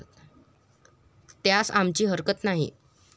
त्यास आमची हरकत नाही.